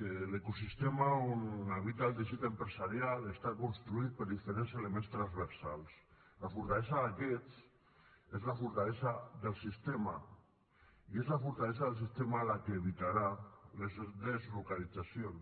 que l’ecosistema on habita el teixit empresarial està construït per diferents elements transversals la fortalesa d’aquests és la fortalesa del sistema i és la fortalesa del sistema la que evitarà les deslocalitzacions